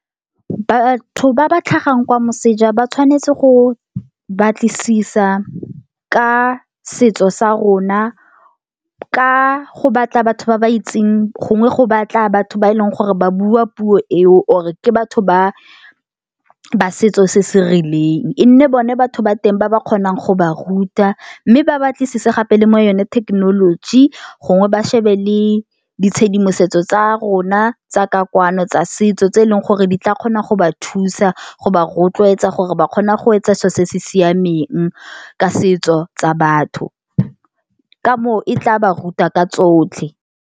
Batho ba ba tlhagang kwa moseja ba tshwanetse go batlisisa ka setso sa rona ka go batla batho ba ba itseng gongwe go batla batho ba e leng gore ba bua puo eo or-e ke batho ba ba setso se se rileng. E nne bone batho ba teng ba ba kgonang go ba ruta mme ba batlisise gape le mo yone thekenoloji gongwe ba shebe le ditshedimosetso tsa rona tsa ka kwano tsa setso tse e leng gore di tla kgona go ba thusa go ba rotloetsa gore ba kgona go etsa selo se se siameng ka setso tsa batho, ka moo e tla ba ruta ka tsotlhe.